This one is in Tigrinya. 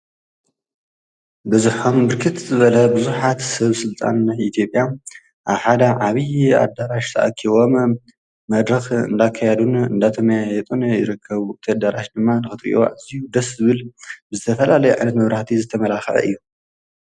በዝኅም ብርክት በለ ብዙሓት ሰብ ሥልጣን ኢቲጴያ ኣሓዳ ዓብዪ ኣዳራሽ ተኣኪዎም መድረኽ እንዳካያዱን እንዳተ መያ የጡን ይረከቡ ተዳራሽ ድማ ንኽትሪእዋዕ እዙይ ደስብል ብዘፈላለይ ዕነትመብራቲ ዝተመላኽዐ እዩ።